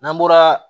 N'an bɔra